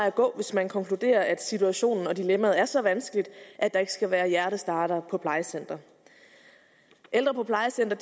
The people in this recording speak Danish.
at gå hvis man konkluderer at situationen og dilemmaet er så vanskeligt at der ikke skal være hjertestartere på plejecentre ældre på plejecentre